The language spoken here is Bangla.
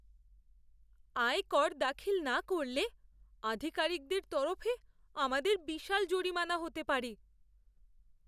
আয়কর দাখিল না করলে, আধিকারিকদের তরফে আমাদের বিশাল জরিমানা হতে পারে।